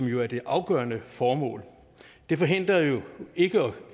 jo er det afgørende formål det forhindrer jo ikke